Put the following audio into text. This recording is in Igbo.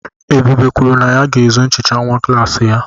Ebube kwuru na ya ga-ezu nchicha nwa klassị ya.